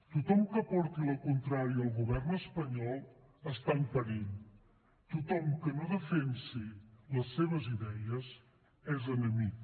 tothom que porti la contrària al govern espanyol està en perill tothom que no defensi les seves idees és enemic